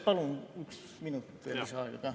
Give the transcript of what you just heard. Palun üks minut lisaaega ka.